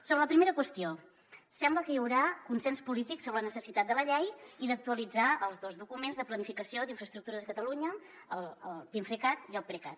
sobre la primera qüestió sembla que hi haurà consens polític sobre la necessitat de la llei i d’actualitzar els dos documents de planificació d’infraestructures a catalunya el pinfrecat i el precat